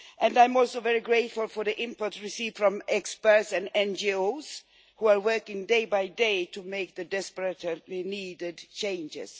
I am also very grateful for the input received from experts and NGOs, who are working day by day to make the desperately needed changes.